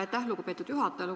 Aitäh, lugupeetud juhataja!